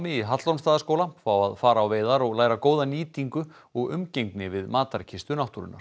í Hallormsstaðarskóla fá að fara á veiðar og læra góða nýtingu og umgengni við matarkistu náttúrunnar